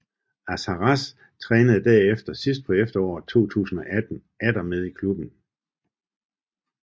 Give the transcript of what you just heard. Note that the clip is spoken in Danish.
Akharraz trænede herefter sidst på efteråret 2018 atter med i klubben